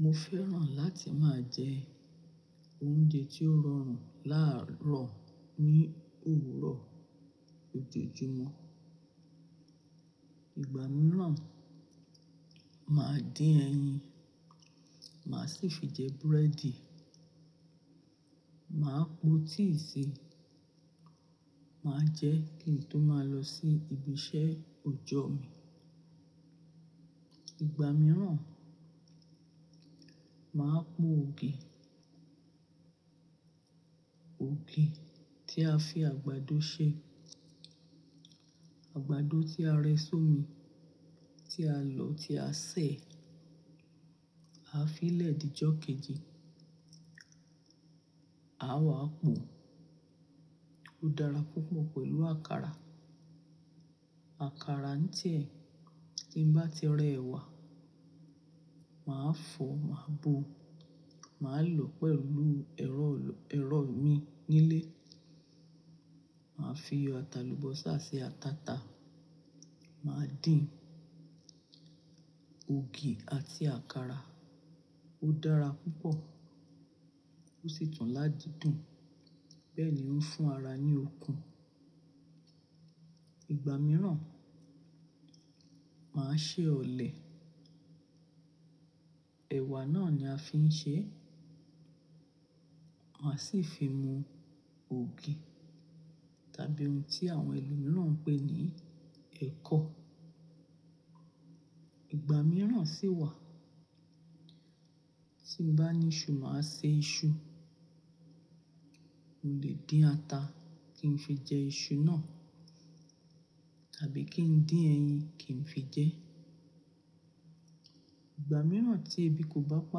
Mo fẹ́ràn láti máa jẹ oúnjẹ tí ó rọrùn láàárọ̀ ní òwúrọ̀ òjòjúmọ́. Ìgbà mìíràn, màá dín ẹyin, màá sì fi jẹ búrẹ́dì. Màá po tíì sì, màá jẹ kí n tó máa lọ sí ibi iṣẹ́ ọjọ́ mi. Ìgbà mìíràn, màá po ògì, ògì tí a fi àgbàdo ṣe, àgbàdo tí a rẹ sómi, tí a lọ́, tí a sè, a fi ilẹ̀ dí jọ kejì, à wa po. Ó dára púpọ̀ pẹ̀lú àkàrà. Àkàrà ń tí ẹ́ tí ń bá ti rẹ ẹ̀wà, màá fọ̀, màá bo, màá lò pẹ̀lú ẹ̀rọ èro mi nílé. Màá fi iyọ̀, ata lubọ́sa sì ati ataata. Màá dín ògì àti àkàrà ó dára púpọ̀ ó sì tun lá dùn. Bẹ́ẹ̀ ni ó ń fún ara ní okun. Ìgbà mìíràn, màá ṣe ọ̀lẹ̀. Ẹ̀wà náà ni a fi ń ṣe ẹ́. Màá sì fi mu ògì tàbí ohun tí àwọn ẹlòmíràn ń pè ní ẹ̀kọ. Ìgbà mìíràn sì wà tín bá ní iṣu, màá ṣe iṣu. Mo lè dín ata kí n fi jẹ iṣu náà tàbí kí n dín ẹyin kí n fi jẹ ẹ́. Ìgbà mìíràn tí ebi kò bá pa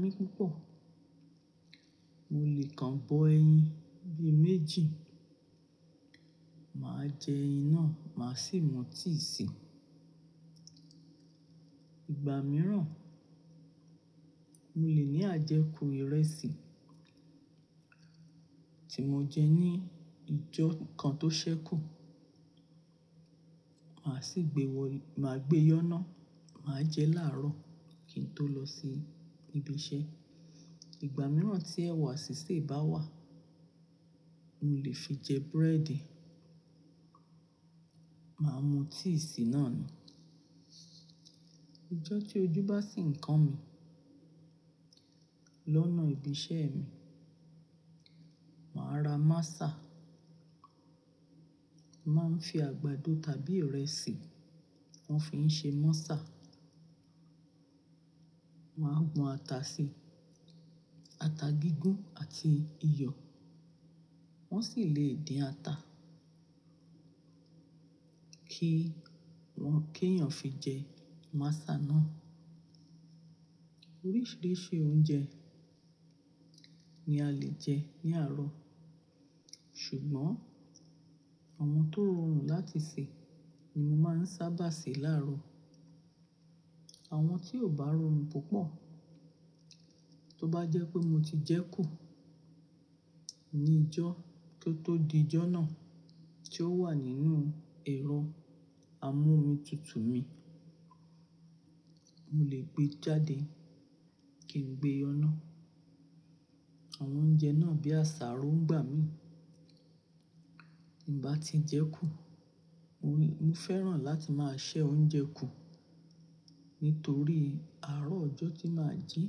mí púpọ̀, mo lè kan bo ẹyin bí i méjì, màá jẹ ẹyin náà, màá sì mu tíì sì. Ìgbà mìíràn, mo lè ní àjẹkù ìrẹsì tí mo jẹ ní ìjọ́ kan tó ṣẹ́kù, màá sì gbé yoná, màá jẹ láàárọ̀ kí n tó lọ sí ibi iṣẹ́. Ìgbà mìíràn tí ẹ̀wà sì se bá wà, mo lè fi jẹ búrẹ́dì, màá mu tíì sì náà ni. Ìjọ́ tí ojú bá sì ń kan mi lọ́nà ibi iṣẹ́ mi, màá ra masà. Màá ń fi àgbàdo tàbí ìrẹsì wọ́n fi ń ṣe mọ́sà. Wọn á gbon ata sí i, ata gígún àti iyọ̀. Wọ́n sì lè dín ata kí wọ́n ké èyàn fi jẹ masà náà. Oríṣiríṣi oúnjẹ ni a lè jẹ ní àárọ̀, ṣùgbọ́n àwọn tó rọrùn láti sè ni mo máa ń sábà sè láàárọ̀. Àwọn tí ò bá rọrùn púpọ̀, tó bá jẹ́ pé mo ti jẹ kú ní ìjọ́ kí ó tó di ijọ́ náà tí ó wà nínú ẹ̀rọ amómitutù mi, mo lè gbé e jáde kí n gbé e yoná. Àwọn oúnjẹ náà bí àsáró ń gbà mí. Tí n bá ti jẹ kú, mo fẹ́ràn láti máa sè oúnjẹ kú nítorí àárọ̀ ọjọ́ tí màá jí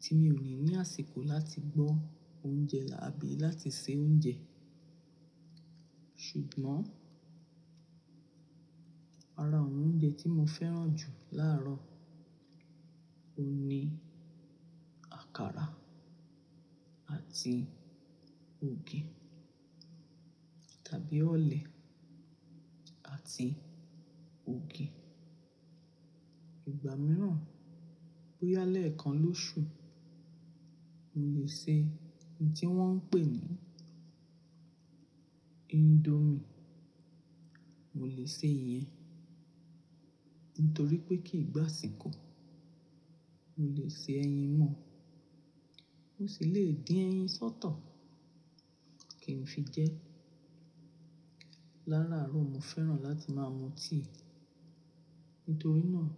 tí mi ò ní ní àsìkò láti gbọ́ oúnjẹ àbí láti sè oúnjẹ. Ṣùgbọ́n ara àwọn oúnjẹ tí mo fẹ́ràn jù láàárọ̀, òun ni àkàrà àti ògì tàbí ọ̀lẹ̀ àti ògì. Ìgbà mìíràn bó yá lẹ̀ kan lóṣù, mo lè ṣe ohun tí wọ́n ń pè ní indomie. Mo lè ṣe ìyẹn nítorí pé kì í gbá àṣíkò. Mo lè se ẹyin mọ́, mò sì lè dín ẹyin sọ́tọ̀ kí n fi jẹ ẹ́. Lárárọ̀, mo fẹ́ràn láti máa mu tíì nítorí náà.